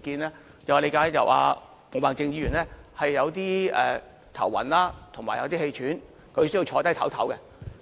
見，我理解到毛孟靜議員感到有點頭暈及氣喘，需要坐下稍事休息。